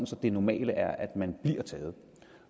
så det normale er at man bliver taget